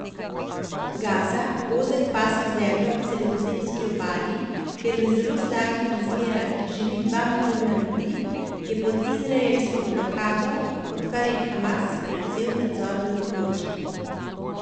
Gaza, ozek pas ozemlja ob sredozemski obali, kjer v zelo slabih razmerah živi dva milijona ljudi, je pod izraelsko blokado, odkar je Hamas prevzel nadzor nad območjem.